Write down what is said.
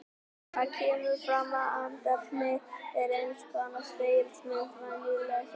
Þar kemur fram að andefni er eins konar spegilmynd venjulegs efnis.